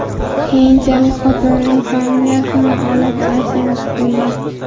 Keyinchalik, xotinining familiyasini olib, Aysenov bo‘lgan.